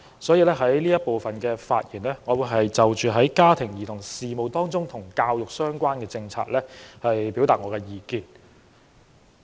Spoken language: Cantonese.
因此，我在這環節的發言，會就家庭及兒童事務和與教育相關的政策表達意見。